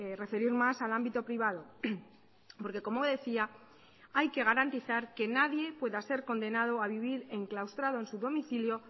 referir más al ámbito privado porque como decía hay que garantizar que nadie pueda ser condenado a vivir enclaustrado en su domicilio